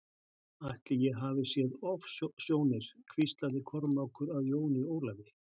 Ætli ég hafi séð ofsjónir hvíslaði Kormákur að Jóni Ólafi.